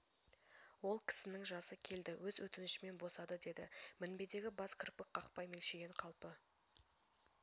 ол кісінің жасы келді өз өтінішімен босады деді мінбедегі бас кірпік қақпай мелшиген қалпы